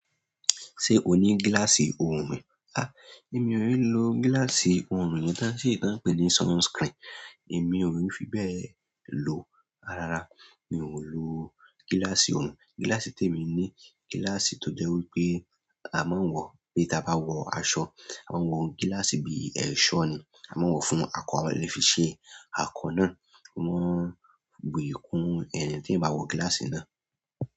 Ṣé o ní gíláàsì òòrùn? Èmi ò n lo gíláàsì òòrùn yẹn tán ṣe tí wọ́n ń pè ní sunscreen, èmi ò ní fi bẹ́ẹ̀ lò ó. Rárá, mi ò lo gíláàsì òòrùn. Gíláàsì tí èmi ní gíláàsì tó jẹ́ wí pé a máa ń wò o, pé tabá wọ aṣọ. A máa ń wọ gíláàsì bí i ẹ̀ṣọ́ ni. A máa ń wò o fún ako, a lè fi ṣe ako náà. Wọ́n bu yì kún, tí èèyàn bá wọ gíláàsì náà.